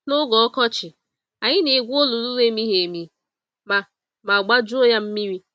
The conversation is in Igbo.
n'oge ọkọchị, anyị na-egwu olulu n'emighị-emi ma ma gbajuo yá mmiri.